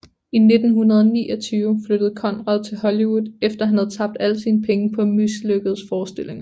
I 1929 flyttede Conrad til Hollywood efter han havde tabt alle sine penge på mislykkedes forestillinger